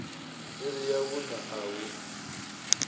iri ya vhuṋa a hu